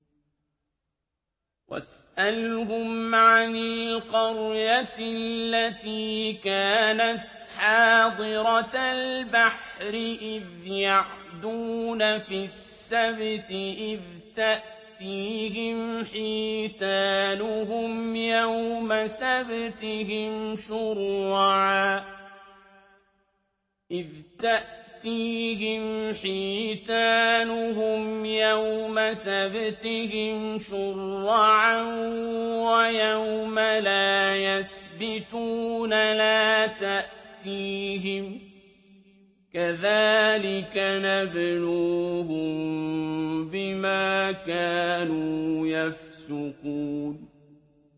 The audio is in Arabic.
وَاسْأَلْهُمْ عَنِ الْقَرْيَةِ الَّتِي كَانَتْ حَاضِرَةَ الْبَحْرِ إِذْ يَعْدُونَ فِي السَّبْتِ إِذْ تَأْتِيهِمْ حِيتَانُهُمْ يَوْمَ سَبْتِهِمْ شُرَّعًا وَيَوْمَ لَا يَسْبِتُونَ ۙ لَا تَأْتِيهِمْ ۚ كَذَٰلِكَ نَبْلُوهُم بِمَا كَانُوا يَفْسُقُونَ